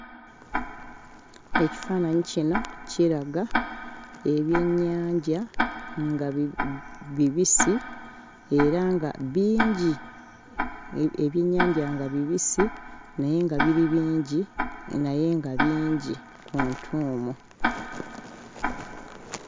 Ekifaananyi kino kiraga ebyennyanja nga bib.. bibisi era nga bingi! Ebyennyanja nga bibisi naye nga biri bingi naye nga bingi mu ntuumu.